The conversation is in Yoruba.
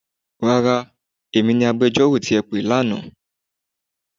Rárá, èmi ni agbẹjọ́rò tí ẹ pè ní àná.